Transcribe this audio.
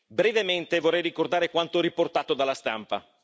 Brevemente, vorrei ricordare quanto riportato dalla stampa.